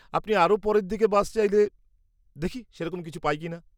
আপনি আরও পরের দিকে বাস চাইলে, দেখি সেরকম কিছু পাই কিনা।